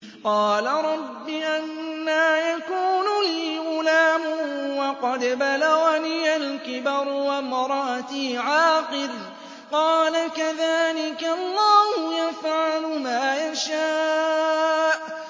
قَالَ رَبِّ أَنَّىٰ يَكُونُ لِي غُلَامٌ وَقَدْ بَلَغَنِيَ الْكِبَرُ وَامْرَأَتِي عَاقِرٌ ۖ قَالَ كَذَٰلِكَ اللَّهُ يَفْعَلُ مَا يَشَاءُ